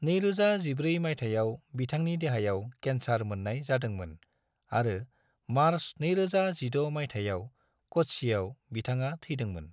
2014 मायथाइआव बिथांनि देहायाव केन्सार मोननाय जादोंमोन आरो मार्च 2016 मायथाइआव कच्चिआव बिथाङा थैदोंमोन।